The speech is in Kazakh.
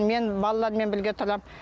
мен балалармен бірге тұрам